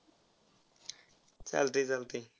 चालतय चालतय.